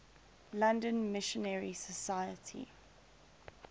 london missionary society